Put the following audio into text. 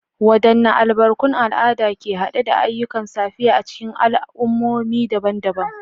Wadanne albarkun al'ada ke hade da ayyukan safiya a cikin al'ummomi daban-daban?